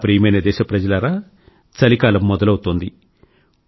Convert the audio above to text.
నా ప్రియమైన దేశప్రజలారా చలికాలం మొదలవుతోంది